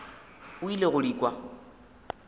o ile go di kwa